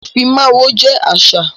Ifímáwó jẹ àṣà.